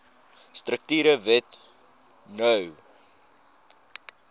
strukture wet no